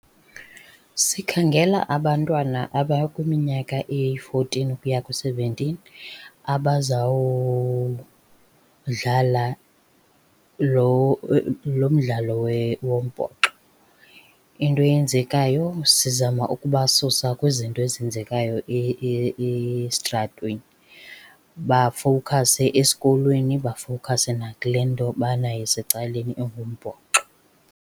Sikhangela abantwana abakwiminyaka eyi-fourteen ukuya ku-seventeen abazawudlala lo lo mdlalo wombhoxo. Into eyenzekayo sizama ukubasusa kwizinto ezenzekayo esitratweni, bafowukhase esikolweni, bafowukhase nakule nto banayo isecaleni engumbhoxo.